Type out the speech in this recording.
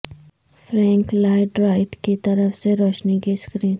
Frank Lloyd Wright کی طرف سے روشنی کی سکرین